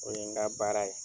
O ye n ka baara ye.